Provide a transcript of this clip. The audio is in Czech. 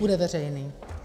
Bude veřejný.